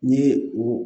N'i ye o